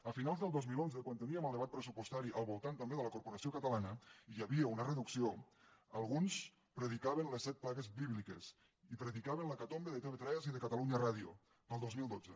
a finals del dos mil onze quan teníem el debat pressupostari al voltant també de la corporació catalana i hi havia una reducció alguns predicaven les set plagues bíbliques i predicaven l’hecatombe de tv3 i de catalunya ràdio per al dos mil dotze